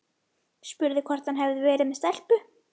Spurði hvort hann hefði verið með stelpu.